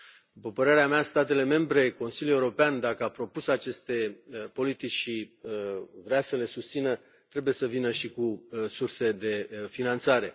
După părerea mea, statele membre, Consiliul European, dacă au propus aceste politici și vor să le susțină, trebuie să vină și cu surse de finanțare.